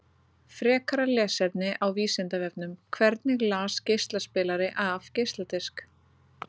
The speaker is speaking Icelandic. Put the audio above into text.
Frekara lesefni á Vísindavefnum: Hvernig les geislaspilari af geisladisk?